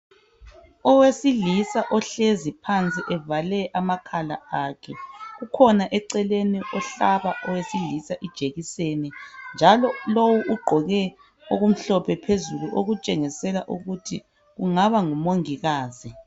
Owesilisa ohlezi phansi evale amakhala akhe ukhona eceleni ofaka owesilisa ijekiseni njalo lowu ugqoke okumhlophe phezulu okutshengisela ukuthi kungaba ngu Mongikazi.